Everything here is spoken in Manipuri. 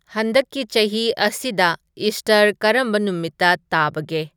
ꯍꯟꯗꯛꯀꯤ ꯆꯍꯤ ꯑꯁꯤꯗ ꯏꯁꯇꯔ ꯀꯔꯝꯕ ꯅꯨꯃꯤꯠꯇ ꯇꯥꯕꯒꯦ